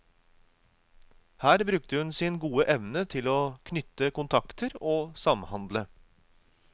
Her brukte hun sin gode evne til å knytte kontakter og samhandle.